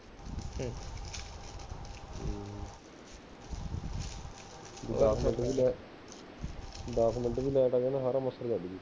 ਦੱਸ ਮਿੰਟ ਵੀ light ਆ ਜਾਏ ਨਾ ਸਾਰਾ ਲੱਗ ਜੁ